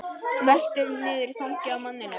Veltur niður í fangið á manninum.